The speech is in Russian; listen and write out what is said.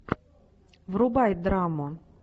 врубай драму